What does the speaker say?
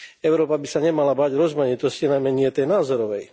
Európa by sa nemala báť rozmanitosti, najmä nie tej názorovej.